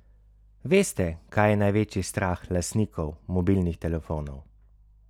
Veste, kaj je največji strah lastnikov mobilnih telefonov?